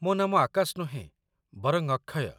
ମୋ ନାମ ଆକାଶ ନୁହେଁ, ବରଂ ଅକ୍ଷୟ